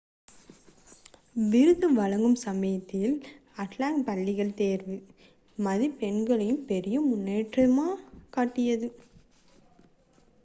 விருது வழங்கும் சமயத்தில் அட்லாண்டா பள்ளிகள் தேர்வு மதிப்பெண்களில் பெரிய முன்னேற்றத்தைக் காட்டியது